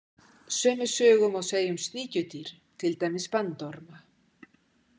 Sömu sögu má segja um sníkjudýr, til dæmis bandorma.